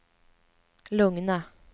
lugna